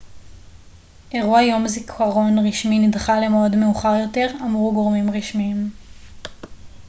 אירוע יום זיכרון רשמי נדחה למועד מאוחר יותר אמרו גורמים רשמיים